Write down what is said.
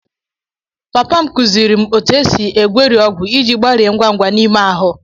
Papa m kụziiri m otú e si egweri ọgwụ iji gbarie ngwa ngwa n'ime ahụ.